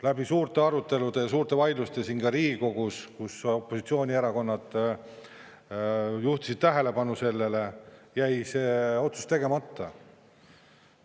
Läbi suurte arutelude ja suurte vaidluste ka siin Riigikogus, kus opositsioonierakonnad juhtisid tähelepanu sellele, jäi see otsus tegemata.